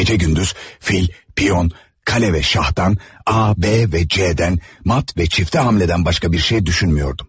Gecə-gündüz fil, piyun, qale ve şahtan, A, B ve C-dən, mat ve çifte hamledən başka bir şey düşünmüyordum.